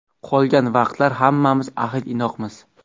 Qolgan vaqtlar hammamiz ahil-inoqmiz.